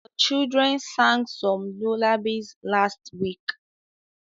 The children sang some lullabies last week